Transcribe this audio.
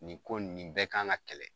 Nin ko nin bɛɛ kan ka kɛlɛ